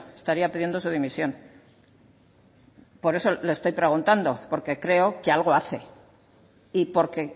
estaría pidiendo su dimisión por eso le estoy preguntando porque creo que algo hace y porque